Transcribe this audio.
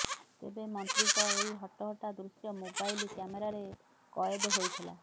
ତେବେ ମନ୍ତ୍ରୀଙ୍କ ଏହି ହଟହଟ୍ଟା ଦୃଶ୍ୟ ମୋବାଇଲ କ୍ୟାମେରାରେ କଏଦ ହୋଇଥିଲା